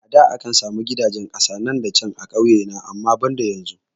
A da akan sami gidajen kasa nan da can a kauye na amma banda yanzu